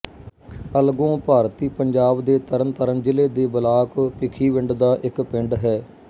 ਅਲਗੋਂ ਭਾਰਤੀ ਪੰਜਾਬ ਦੇ ਤਰਨਤਾਰਨ ਜ਼ਿਲ੍ਹੇ ਦੇ ਬਲਾਕ ਭਿੱਖੀਵਿੰਡ ਦਾ ਇੱਕ ਪਿੰਡ ਹੈ